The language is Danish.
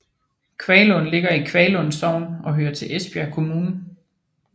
Kvaglund ligger i Kvaglund Sogn og hører til Esbjerg Kommune